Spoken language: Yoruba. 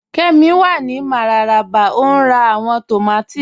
Kẹ́mí wà ní Mararaba o n rá awọn tómàtì